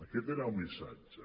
aquest era el missatge